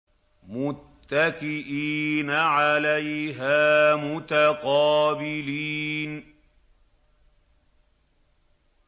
مُّتَّكِئِينَ عَلَيْهَا مُتَقَابِلِينَ